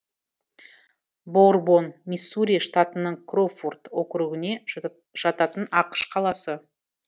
боурбон миссури штатының кроуфорд округіне жататын ақш қаласы